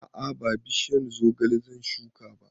A'a ba bishiyar zogale zan shuka ba